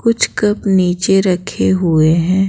कुछ कप नीचे रखे हुए हैं ।